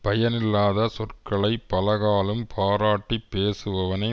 பயனில்லாத சொற்களை பலகாலும் பாராட்டி பேசுபவனை